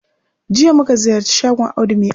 Jiya muka ziyarci shagon Audu ma'aski